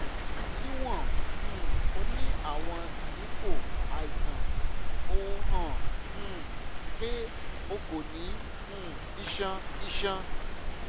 niwon um o ni awọn iyipo aiṣan o han um pe o ko ni um iṣan iṣan